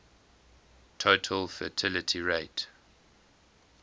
total fertility rate